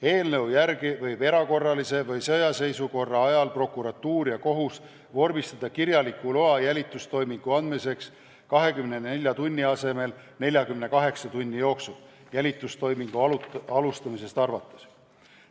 Eelnõu järgi võivad erakorralise või sõjaseisukorra ajal prokuratuur ja kohus vormistada kirjaliku loa jälitustoimingu tegemiseks 24 tunni asemel 48 tunni jooksul jälitustoimingu alustamisest arvates.